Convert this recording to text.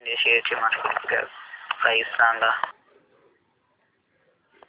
PTC India शेअरची market cap price सांगा